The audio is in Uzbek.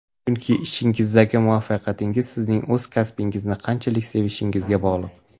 Chunki, ishingizdagi muvaffaqiyatingiz sizning o‘z kasbingizni qanchalik sevishingizga bog‘liq.